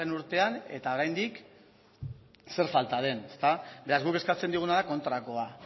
urtean eta oraindik zer falta den ezta beraz guk eskatzen dioguna da kontrakoa